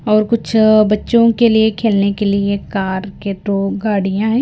और कुछ बच्चों के लिए खेलने के लिए कार के दो गाड़ियां हैं।